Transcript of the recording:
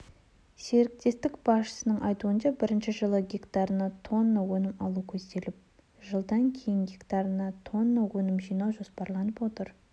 серіктестікбасшысының айтуынша бірінші жылы гектарына тонна өнім алу көзделіп жылдан кейін гектарына тоннаөнім жинау жоспарланып отыр